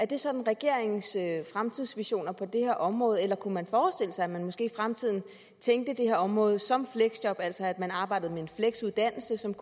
det sådan regeringens fremtidsvisioner er på det her område eller kunne man forestille sig at man måske i fremtiden tænkte det her område som fleksjob altså at man arbejdede med en fleksuddannelse som